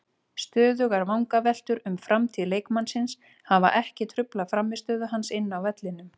Stöðugar vangaveltur um framtíð leikmannsins hafa ekki truflað frammistöðu hans inni á vellinum.